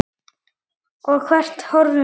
Og hvert horfum við?